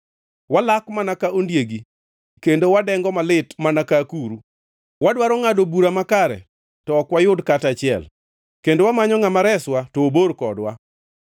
Walak mana ka ondiegi kendo wadengo malit mana ka akuru. Wadwaro ngʼado bura makare to ok wayud kata achiel, kendo wamanyo ngʼama reswa to obor kodwa.